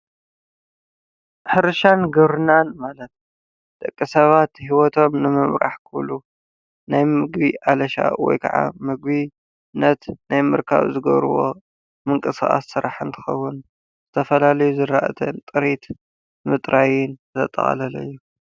ሕርሻን ግብርናን ማለት ደቂ ሰባት ሂወቶም ንምምራሕ ክብሉ ናይ ምግቢ አለሻ ወይ ከዓ ምግቢ ናይ ምርካብ ዝገብርዎ ምንቅስቃስ ስራሕ እንትከውን ዝተፈላለዩ ዘራእትን ጥሪት ምጥራይን ዘጠቃለለ እዩ።